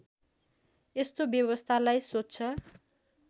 यस्तो व्यवस्थालाई स्वच्छ